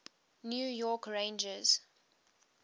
new york rangers